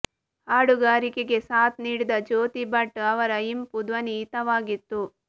ಹಾಡುಗಾರಿಕೆಗೆ ಸಾತ್ ನೀಡಿದ ಜ್ಯೋತಿ ಭಟ್ ಅವರ ಇಂಪು ಧ್ವನಿ ಹಿತವಾಗಿತ್ತು